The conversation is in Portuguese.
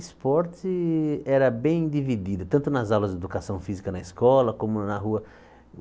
Esporte era bem dividido, tanto nas aulas de educação física na escola, como na rua.